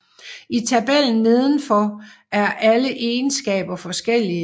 I tabellen nedenfor er alle egenskaber forskellige